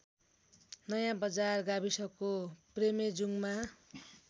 नयाँबजार गाविसको प्रेमेजुङमा